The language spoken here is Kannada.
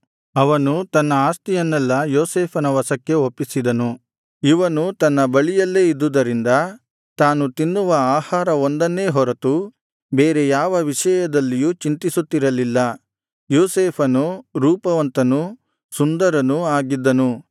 ಅವನು ತನ್ನ ಆಸ್ತಿಯನ್ನೆಲ್ಲಾ ಯೋಸೇಫನ ವಶಕ್ಕೆ ಒಪ್ಪಿಸಿದನು ಇವನು ತನ್ನ ಬಳಿಯಲ್ಲೇ ಇದ್ದುದರಿಂದ ತಾನು ತಿನ್ನುವ ಆಹಾರ ಒಂದನ್ನೇ ಹೊರತು ಬೇರೆ ಯಾವ ವಿಷಯದಲ್ಲೂ ಚಿಂತಿಸುತ್ತಿರಲಿಲ್ಲ ಯೋಸೇಫನು ರೂಪವಂತನೂ ಸುಂದರನೂ ಆಗಿದ್ದನು